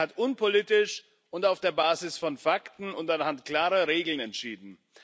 Er hat unpolitisch, auf der Basis von Fakten und anhand klarer Regeln entschieden.